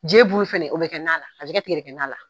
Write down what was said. Je bulu fana o bɛ kɛ tigɛdɛgɛ na la.